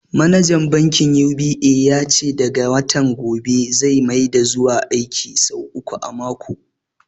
Manajan bankin UBA ya ce daga watan gobe zai maida zuwa aiki sau uku a mako.